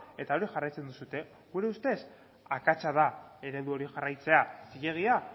eta hori jarraitzen duzue gure ustez akatsa da eredu hori jarraitzea zilegia